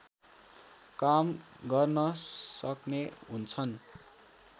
काम गर्न सक्ने हुन्छन्